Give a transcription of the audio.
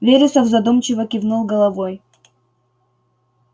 вересов задумчиво кивнул головой